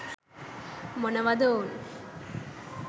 මොනවාද ඔවුන්